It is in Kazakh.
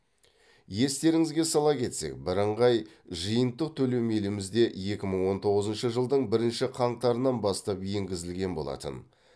естеріңізге сала кетсек бірыңғай жиынтық төлем елімізде екі мың он тоғызыншы жылдың бірінші қаңтарынан бастап енгізілген болатын